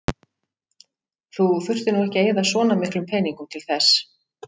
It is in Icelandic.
Þú þurftir nú ekki að eyða svona miklum peningum til þess.